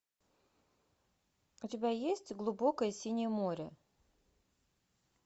у тебя есть глубокое синее море